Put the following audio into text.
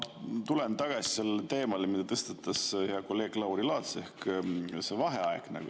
Ma tulen tagasi selle teema juurde, mille tõstatas hea kolleeg Lauri Laats, ehk vaheaeg.